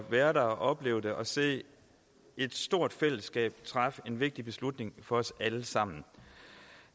være der og opleve det og se et stort fællesskab træffe en vigtig beslutning for os alle sammen